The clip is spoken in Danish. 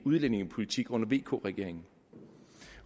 udlændingepolitik under vk regeringen